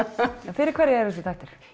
fyrir hverja eru þessir þættir